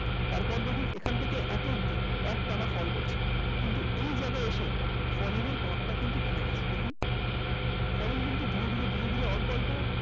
তারপর যদি এখান থেকে এতো অবধি একটানা fall করেছে । তো এই জায়গায় এসে Falling এর power টা কিন্তু কমে গেছে Falling কিন্তু ধীরে ধীরে ধীরে ধীরে অল্প অল্প